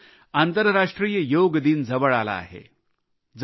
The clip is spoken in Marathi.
मित्रांनो आंतरराष्ट्रीय योग दिन जवळ आला आहे